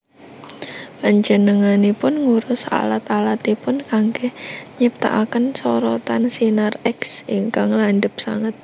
Panjenenganipun ngurus alat alatipun kanggé nyiptakaken sorotan sinar X ingkang landhep sanget